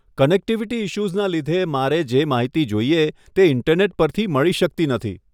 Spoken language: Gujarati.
કનેક્ટિવિટી ઈશ્યુઝના લીધે મારે જે માહિતી જોઈએ તે ઇન્ટરનેટ પરથી મળી શકતી નથી.